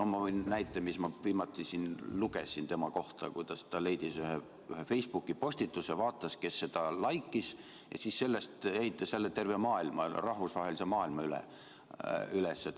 Ma võin näite tuua, mida ma viimati siin lugesin tema kohta, kuidas ta leidis ühe Facebooki postituse, vaatas, kes seda laikis, ja siis selle põhjal ehitas jälle terve rahvusvahelise maailma üles.